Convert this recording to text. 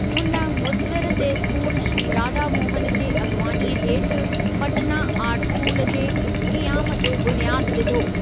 हुन मुसविरी जे स्कूल श्री राधा मोहनु जे अॻुवाणीअ हेठि पटना आर्ट स्कूल जे क़ियाम जो बुनियादु विधो।